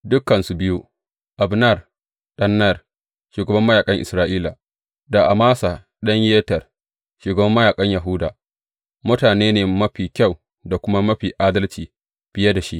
Dukansu biyu, Abner ɗan Ner, shugaban mayaƙan Isra’ila, da Amasa ɗan Yeter, shugaban mayaƙan Yahuda, mutane ne mafi kyau da kuma mafi adalci fiye da shi.